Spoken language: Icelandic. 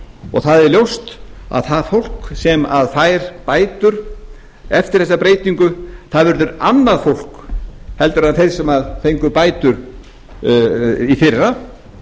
og það er ljóst að það fólk sem fær bætur eftir þessa breytingu verður annað fólk en þeir sem fengu bætur í fyrra